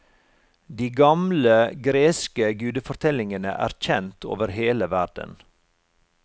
De gamle, greske gudefortellingene er kjent over hele verden.